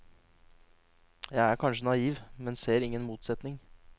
Jeg er kanskje naiv, men ser ingen motsetning.